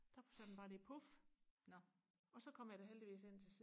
der sagde den bare lige puf og så kom jeg da heldigvis hen til